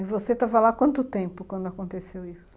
E você estava lá há quanto tempo quando aconteceu isso?